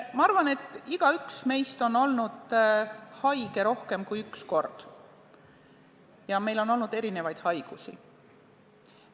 Ma arvan, et igaüks meist on olnud haige rohkem kui üks kord ja meil on olnud erinevaid haigusi.